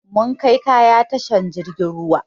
Mun kai kaya tashan jirgin ruwa